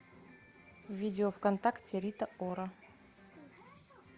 видео вконтакте рита ора